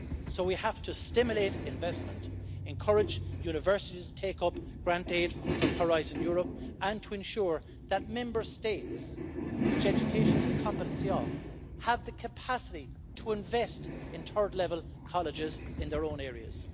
So we have to stimulate investment, encourage universities to take up grant aid from Horizon Europe and to ensure that Member States which education is the competency of have the capacity to invest in third level colleges in their own areas.